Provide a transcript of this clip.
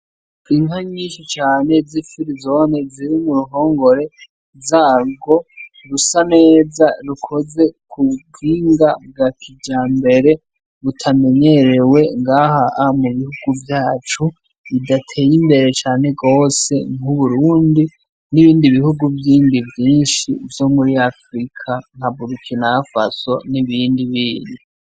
Inka nyinshi cane zifirizone ziri m'uruhongore zagwo rusa neza. Rukoze kubuhinga bwa kijambere butamenyerewe ngaha mubihugu vyacu bidateye imbere cane gose, nk'Uburundi, n'ibindi bihugu vyinshi vyo muri afurika nka Burukina faso n'ibindi bindi.